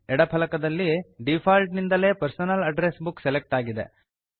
ಎಡ ಫಲಕದಲ್ಲಿ ಡಿಫಾಲ್ಟ್ ನಿಂದಲೇ ಪರ್ಸನಲ್ ಅಡ್ರೆಸ್ ಬುಕ್ ಸೆಲೆಕ್ಟ್ ಆಗಿದೆ